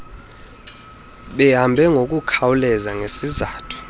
behambe ngokukhawuleza ngesizathu